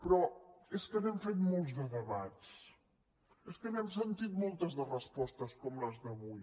però és que n’hem fet molts de debats és que n’hem sentit moltes de respostes com les d’avui